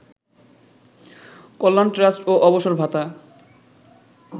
কল্যাণ trust ও অবসর ভাতা